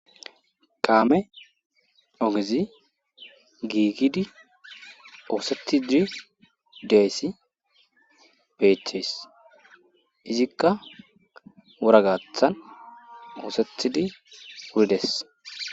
Kaame ogezi giigidi ooseti diri deessi beeches izikka woragathan oosethidi wurides